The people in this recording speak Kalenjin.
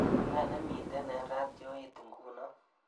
Ne nemiten eng ratioit nguno